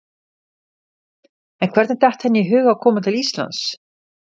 En hvernig datt henni í hug að koma til Íslands?